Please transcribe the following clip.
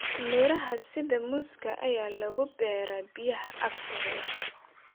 Miraha sida muuska ayaa lagu beeraa biyaha agtooda.